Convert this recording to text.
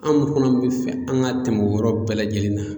Anw fana bi fɛ an ka tɛmɛ o yɔrɔ bɛɛ lajɛlen nan